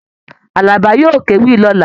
Àlàbá yóò kéwì lọ̀la.